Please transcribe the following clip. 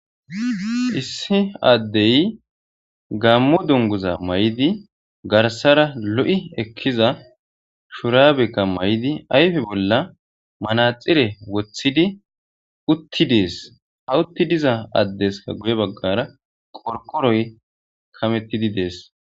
Issi addey gammo dunguza may'idi garsara lo'i ekkiza shuraabekka may'idi ayfe bolla manaxire woththidi utti dees hawutti diza addeska guye baggara qorkoroy kamettidi dees.